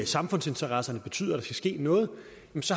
samfundsinteresserne betyder at der skal ske noget